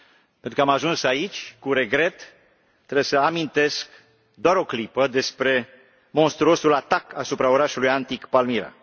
Pentru că am ajuns aici, cu regret, trebuie să amintesc doar o clipă despre monstruosul atac asupra orașului antic Palmyra.